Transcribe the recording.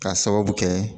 K'a sababu kɛ